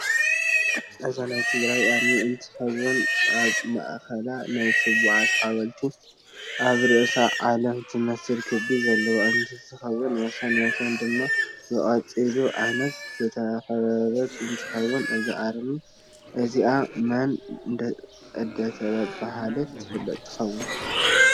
እዛ ናይ ትግራይ ኣርም እንትትከውን ኣብ ማእከላ ናይ ስዋኣት ሓወልቲ ኣብ ርእስኣ ዓለም ትመስል ክቢ ዘለታ እንትትከውን ወሰን ወሰን ድማ ብቆፅሊ ዓይነት ዝተከበበት እንትከውን እዛ ኣርሚ እዝኣ መን እደተበሃለት ትፍለጥ ትከውን?